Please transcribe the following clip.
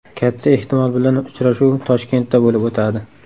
Katta ehtimol bilan uchrashuv Toshkentda bo‘lib o‘tadi.